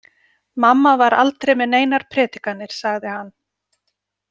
Mamma var aldrei með neinar predikanir, sagði hann.